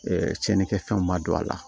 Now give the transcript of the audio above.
cɛnnikɛfɛnw ma don a la